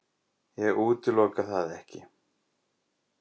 Ég útiloka það ekki.